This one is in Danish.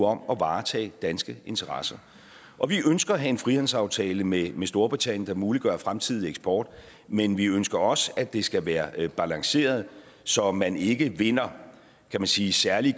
om at varetage danske interesser og vi ønsker at have en frihandelsaftale med storbritannien der muliggør fremtidig eksport men vi ønsker også at det skal være balanceret så man ikke vinder kan man sige særlige